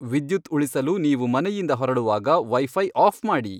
ವಿದ್ಯುತ್ ಉಳಿಸಲು ನೀವು ಮನೆಯಿಂದ ಹೊರಡುವಾಗ ವೈಫೈ ಆಫ್ ಮಾಡಿ